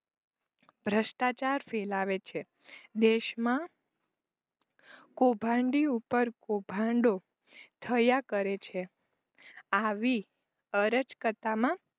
ભ્રષ્ટાચાર ફેલાવે છે. દેશમાં કુભાંડી ઉપર કુભાંડો થયા કરે છે. આવી અરચકતામાં